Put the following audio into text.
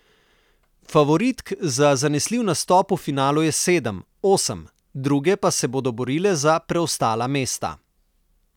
Favoritk za zanesljiv nastop v finalu je sedem, osem, druge pa se bodo borile za preostala mesta.